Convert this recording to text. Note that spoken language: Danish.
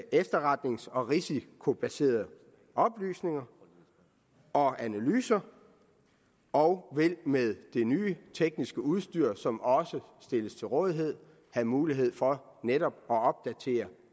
efterretnings og risikobaserede oplysninger og analyser og vil med det nye tekniske udstyr som også stilles til rådighed have mulighed for netop at opdatere